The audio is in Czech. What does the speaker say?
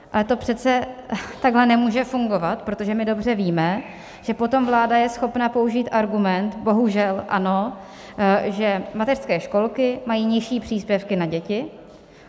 Ale to přece takhle nemůže fungovat, protože my dobře víme, že potom vláda je schopna použít argument - bohužel ano - že mateřské školky mají nižší příspěvky na děti.